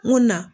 N ko na